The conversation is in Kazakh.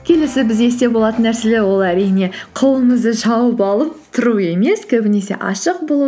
келесі біз есте болатын нәрселер ол әрине қолыңызды жауып алып тұру емес көбінесе ашық болу